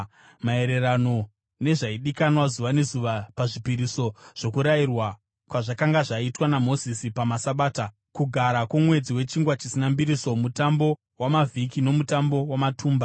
maererano nezvaidikanwa zuva nezuva pazvipiriso sokurayirwa kwazvakanga zvaitwa naMozisi pamaSabata, Kugara kwoMwedzi weChingwa Chisina Mbiriso, Mutambo waMavhiki noMutambo waMatumba.